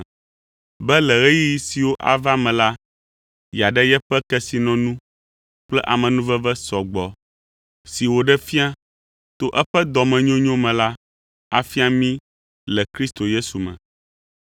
be le ɣeyiɣi siwo ava me la, yeaɖe yeƒe kesinɔnu kple amenuveve sɔ gbɔ si wòɖe fia to eƒe dɔmenyonyo me la afia mí le Kristo Yesu me.